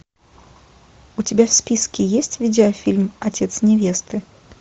у тебя в списке есть видеофильм отец невесты